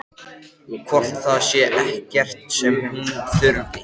Hann lagðist til svefns á mýksta mosafláka sem hann fann.